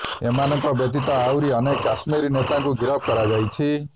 ଏମାନଙ୍କ ବ୍ୟତୀତ ଆହୁରି ଅନେକ କଶ୍ମୀର ନେତାଙ୍କୁ ଗିରଫ କରାଯାଇଛି